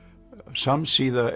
samsíða